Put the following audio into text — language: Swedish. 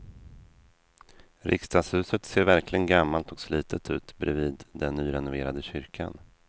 Riksdagshuset ser verkligen gammalt och slitet ut bredvid den nyrenoverade kyrkan.